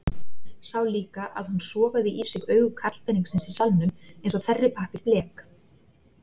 Sá líka að hún sogaði í sig augu karlpeningsins í salnum eins og þerripappír blek.